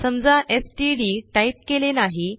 समजा STD type केले नाही